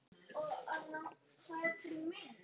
Og við bíðum spennt.